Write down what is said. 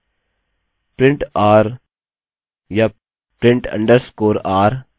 print r या print underscore r नामक function हैं जिनका उपयोग हम कर सकते हैं